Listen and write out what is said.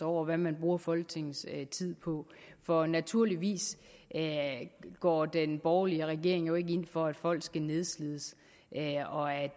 over hvad man bruger folketingets tid på for naturligvis går den borgerlige regering jo ikke ind for at folk skal nedslides og at